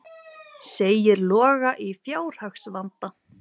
Segir Loga í fjárhagsvanda